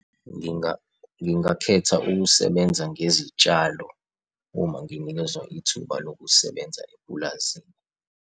Ngingakhetha ukusebenza ngezitshalo, uma nginikezwa ithuba lokusebenza epulazini.